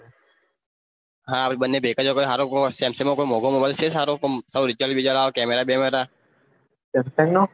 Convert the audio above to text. હા આપડે બંને ભેગા જો હરો કોઈ Samsung મોગો mobile છે રિજલ્ટ બીજલત camera બેમેરા